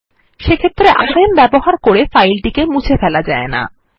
সেক্ষেত্রে আরএম ব্যবহার করে ফাইলটিকে মুছে ফেলা যায় না